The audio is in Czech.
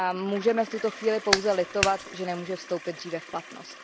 Můžeme v tuto chvíli pouze litovat, že nemůže vstoupit dříve v platnost.